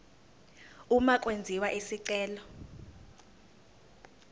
uma kwenziwa isicelo